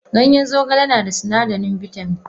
Ganyen zogale nada sunadarin bitamin.